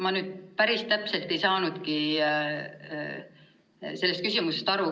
Ma nüüd päris täpselt ei saanudki küsimusest aru.